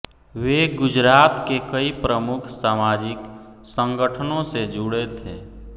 वे गुजरात के कई प्रमुख सामाजिक संगठनों से जुड़े थे